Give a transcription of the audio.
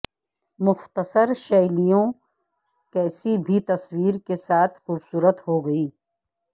مختصر شیلیوں کسی بھی تصویر کے ساتھ خوبصورت ہو گی